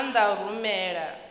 na maana a u rumela